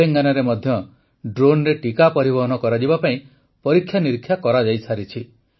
ତେଲେଙ୍ଗାନାରେ ମଧ୍ୟ ଡ୍ରୋନରେ ଟିକା ପରିବହନ କରାଯିବା ପାଇଁ ପରୀକ୍ଷା ନିରୀକ୍ଷା କରାଯାଇସାରିଛି